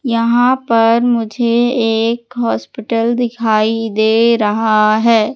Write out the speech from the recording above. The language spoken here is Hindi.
यहां पर मुझे एक हॉस्पिटल दिखाई दे रहा है।